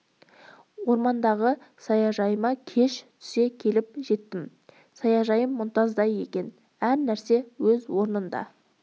ормандағы саяжайыма кеш түсе келіп жеттім саяжайым мұнтаздай екен әр нәрсе өз орнында